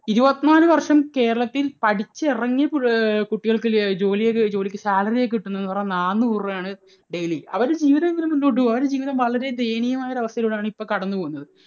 ഇരുപത്തിനാലു വർഷം കേരളത്തിൽ പഠിച്ച് ഇറങ്ങിയ കുട്ടികൾക്ക് ജോലി ജോലി ചെയ്യുന്ന കുട്ടികൾക്ക് salary യായി കിട്ടുന്നത് എന്ന് പറയുന്നത് നാനൂറു രൂപയാണ് daily. അവരുടെ ജീവിതം എങ്ങനെ മുന്നോട്ടു പോകും? അവരുടെ ജീവിതം വളരെ ദയനീയമായ ഒരു അവസ്ഥയിലൂടെ ആണ് ഇപ്പോൾ കടന്നുപോകുന്നത്.